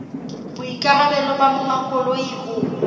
boikarabelo ba monga koloi ho